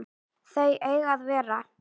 Þau eiga að vera